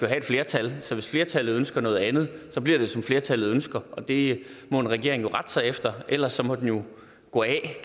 have et flertal så hvis flertallet ønsker noget andet bliver det som flertallet ønsker og det må en regering rette sig efter ellers må den jo gå af